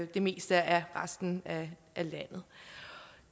det meste af resten af landet